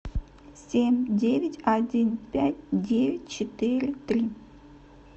семь девять один пять девять четыре три